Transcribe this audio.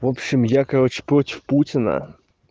в общем я короче против путина